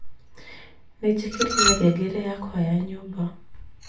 ni njikirire ngengere yakwa ya nyumba